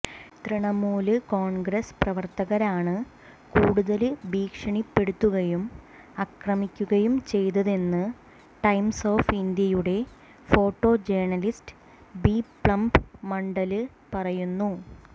തൃണമൂല് കോണ്ഗ്രസ് പ്രവര്ത്തകരാണ് കൂടുതല് ഭീഷണിപ്പെടുത്തുകയും അക്രമിക്കുകയും ചെയ്തതെന്ന് ടൈംസ് ഓഫ് ഇന്ത്യയുടെ ഫോട്ടോ ജേണലിസ്റ്റ് ബിപ്ലബ് മണ്ഡല് പറയുന്നു